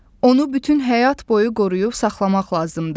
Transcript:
Onu bütün həyat boyu qoruyub saxlamaq lazımdır.